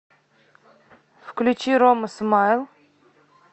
включи рома смайл